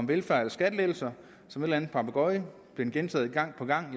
velfærd eller skattelettelser som en anden papegøje gentog man gang på gang